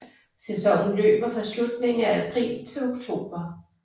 Sæsonen løber fra slutningen af april til oktober